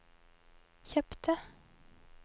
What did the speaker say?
kjøpte